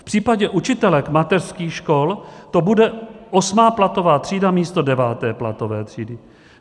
V případě učitelek mateřských škol to bude osmá platová třída místo deváté platové třídy.